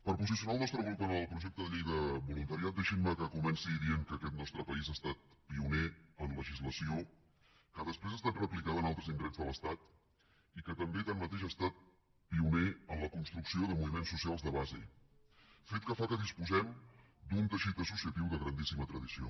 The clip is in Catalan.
per posicionar el nostre grup en el projecte de llei del voluntariat deixinme que comenci dient que aquest nostre país ha estat pioner en legislació que després ha estat replicada en altres indrets de l’estat i que també tanmateix ha estat pioner en la construcció de moviments socials de base fet que fa que disposem d’un teixit associatiu de grandíssima tradició